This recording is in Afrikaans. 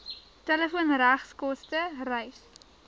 telefoon regskoste reis